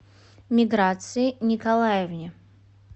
миграции николаевне